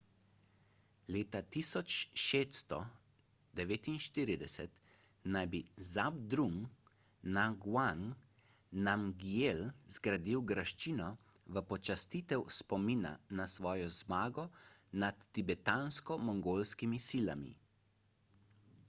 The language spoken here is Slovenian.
leta 1649 naj bi zhabdrung ngawang namgyel zgradil graščino v počastitev spomina na svojo zmago nad tibetansko-mongolskimi silami